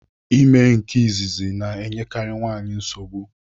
Ime nke izizi na-enyekari nwaanyị nsogbu.